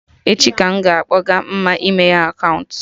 Echi ka m ga-akpọga Mma imeye akaụntụ